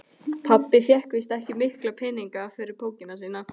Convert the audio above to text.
Pabbi fékk víst ekki mikla peninga fyrir bókina sína.